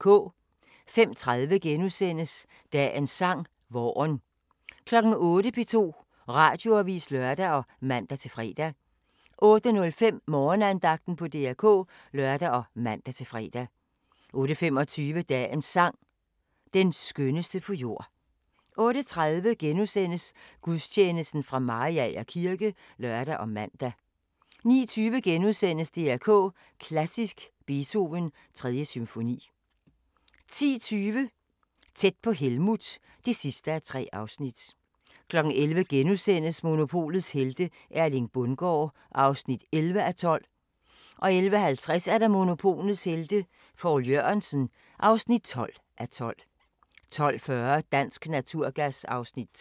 05:30: Dagens sang: Vaaren * 08:00: P2 Radioavis (lør og man-fre) 08:05: Morgenandagten på DR K (lør og man-fre) 08:25: Dagens sang: Den skønneste på jord 08:30: Gudstjeneste fra Mariager kirke *(lør og man) 09:20: DR K Klassisk: Beethoven 3. symfoni * 10:20: Tæt på Helmuth (3:3) 11:00: Monopolets helte - Erling Bundgaard (11:12)* 11:50: Monopolets Helte – Poul Jørgensen (12:12) 12:40: Dansk Naturgas (Afs. 3)